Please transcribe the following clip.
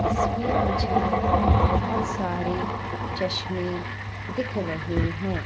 इसमें मुझे बहोत सारे चश्मे दिख रहे हैं।